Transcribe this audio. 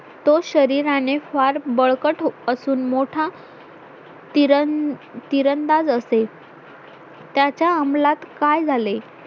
तो शरीराने फार बळकट असून मोठा तीरण तिरंदाज असेल त्याच्या अमलात काय झाले